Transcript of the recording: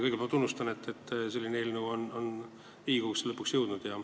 Kõigepealt tunnustan, et selline eelnõu on Riigikogusse lõpuks jõudnud.